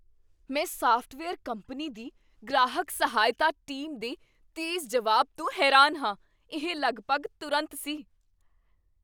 ਮੈਂ software company ਦੀ ਗ੍ਰਾਹਕ ਸਹਾਇਤਾ ਟੀਮ ਦੇ ਤੇਜ਼ ਜਵਾਬ ਤੋਂ ਹੈਰਾਨ ਹਾਂ। ਇਹ ਲਗਭਗ ਤੁਰੰਤ ਸੀ!